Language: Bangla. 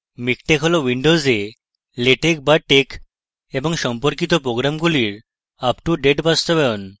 মিকটেক হলো windowsএ latex বা tex এবং সম্পর্কিত প্রোগ্রামগুলির up to date বাস্তবায়ন